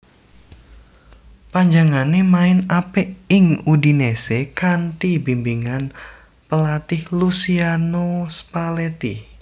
Panjenengané main apik ing Udinese kanthi bimbingan pelatih Luciano Spalletti